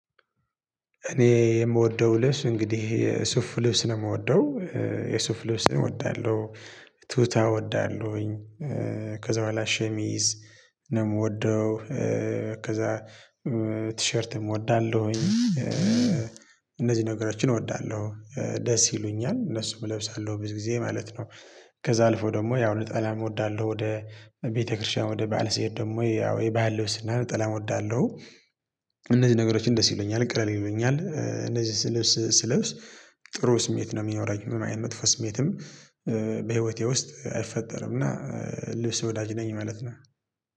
እኔ የምወደው ልብስ እንግዲህ የሱፍ ልብስ ነው የምወደው የሱፍ ልብስ እወዳለሁ ቱታ እወዳለሁኝ ከዛ በኋላ ሸሚዝ ነው የምወደው ከዛ ቲሸርትም እወዳለሁኝ። እነዚህ ነገሮችን እወዳለሁ ደስ ይሉኛል እነሱን እለብሳለሁ ብዙ ጊዜ ማለት ነው። ከዛ አልፎ ደግሞ ያው ነጠላም እወዳለሁ ወደ ቤተክርስቲያን ወደ ባዓል ስሄድ ደግሞ ያው የባዓል ልብስና እና ነጠላም እወዳለሁ። እነዚህ ነገሮችን ደስ ይሉኛል ቅለል ይሉኛል እነዚህ ልብስ ስልብስ ጥሩ ስሜት ነው የሚኖረኝ። ምንም አይነት መጥፎ ስሜትም በህይወቴ ውስጥ አይፈጠርም እና ልብስ ወዳጅ ነኝ ማለት ነው